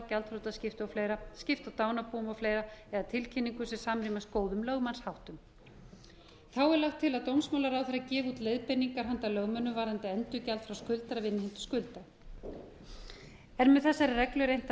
og fleira skipta dánarbúum og fleira eða tilkynningu sem samrýmist góðum lögmannsháttum þá er lagt til að dómsmálaráðherra gefi út leiðbeiningar handa lögmönnum varðandi endurgjald frá skuldara við innheimtu skuldar er með þessari reglu reynt að